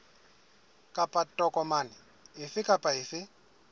kapa tokomane efe kapa efe